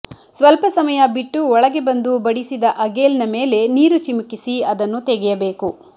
ಸ್ವಲ್ಪ ಸಮಯ ಬಿಟ್ಟು ಒಳಗೆ ಬಂದು ಬಡಿಸಿದ ಅಗೇಲ್ನ ಮೇಲೆ ನೀರು ಚಿಮುಕಿಸಿ ಅದನ್ನು ತೆಗೆಯಬೇಕು